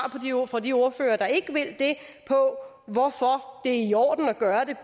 fra de ordførere der ikke vil det på hvorfor det er i orden at gøre det